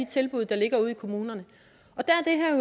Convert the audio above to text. tilbud der ligger ude i kommunerne